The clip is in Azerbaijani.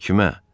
Kimə?